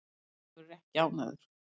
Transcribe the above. Ólafur er ekki ánægður.